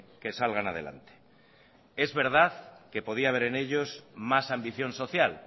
que salgan adelante es verdad que podía haber en ellos más ambición social